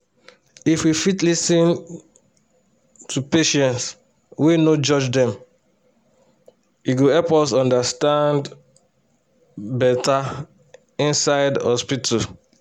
if we fit lis ten to patients wey no judge dem e go help us understand beta inside hospital.